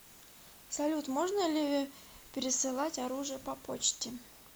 салют можно ли пересылать оружие по почте